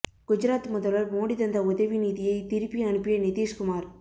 குஜராத் முதல்வர் மோடி தந்த உதவி நிதியை திருப்பி அனுப்பிய நிதிஷ்குமார்